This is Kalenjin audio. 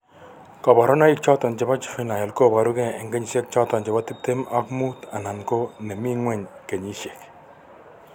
koborunaik choton chebo juvinile koboru gee an konyisiek choton bo tibtem ak mut anan ko nemi ngweny kenyisiek